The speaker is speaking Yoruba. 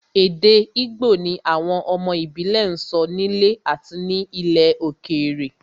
Èdè Igbo ni àwọn ọmọ ìbílẹ̀ ń sọ nílé àti ní ilẹ̀ òkèèrè